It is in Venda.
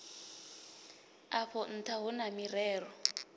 afho ntha hu na mirero